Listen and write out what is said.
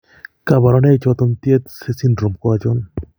Kabarunaik choton Tietze syndrome ko achon ?